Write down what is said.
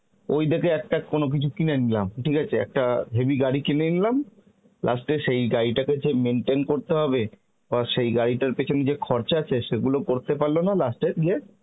ওই দেখে একটা কোন কিছু কিনে নিলাম ঠিক আছে, একটা হেবি গাড়ি কিনে নিলাম last এ সই গাড়িটাকে যে maintain করতে হবে বা সেই গাড়িটার পেছনে যে খরচা আছে সেগুলো করতে পারল না last এ গিয়ে